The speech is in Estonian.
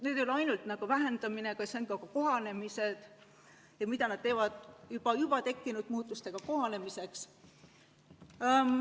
Jutt ei ole ei ole ainult vähendamisest, jutt on ka kohanemisest, sellest, mida riigid teevad juba tekkinud muutustega kohanemiseks.